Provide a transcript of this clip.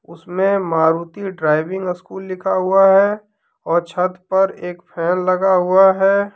उसमें Maruti driving school लिखा हुआ है और छत पर एक फैन लगा हुआ है।